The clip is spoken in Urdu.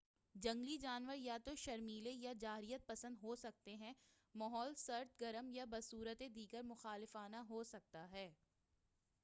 جنگلی جانور یا تو شرمیلے یا جارحیت پسند ہو سکتے ہیں ماحول سرد گرم یا بصورتِ دیگر مخالفانہ ہو سکتا ہے